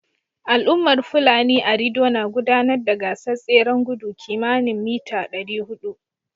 Al'ummar Fulani a Rido na gudanar da gasar tseren gudu kimani mita 400